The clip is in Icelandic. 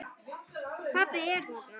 Pabbi er þarna.